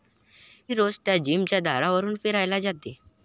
मी रोज त्या जिमच्या दारावरून फिरायला जाते.